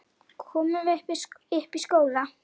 Komum upp í skóla!